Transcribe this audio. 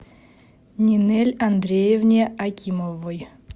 нинель андреевне акимовой